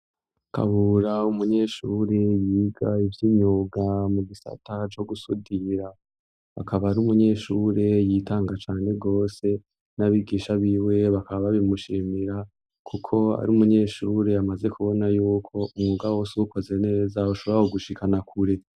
Kabura, umunyeshuri yiga ivy'imyuga mu gisata co gusudira, akaba ari umunyeshuri yitanga cane gose, n'abigisha biwe bakaba babimushimira kuko ari umunyeshuri, amaze kubona y'uko umwuga wose uwukoze neza ushobora kugushikana kure.